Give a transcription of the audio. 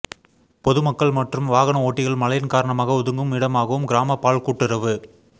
பொதுமக்கள் மற்றும் வாகன ஓட்டிகள் மழையின் காரணமாக ஒதுங்கும் இடமாகவும் கிராம பால் கூட்டுறவு